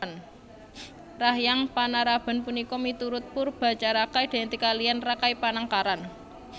Rahyang Panaraban punika miturut Poerbatjaraka identik kaliyan Rakai Panangkaran